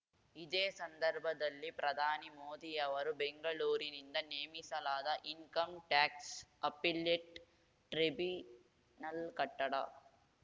ಇದೇ ಸಂದರ್ಭದಲ್ಲಿ ಪ್ರಧಾನಿ ಮೋದಿಯವರು ಬೆಂಗಳೂರಿನಿಂದ ನೇಮಿಸಲಾದ ಇನ್‌ಕಮ್ ಟ್ಯಾಕ್ಸ್ ಅಪಿಲೆಟ್ ಟ್ರಿಬಿನಲ್ ಕಟ್ಟಡ